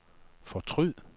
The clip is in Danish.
fortryd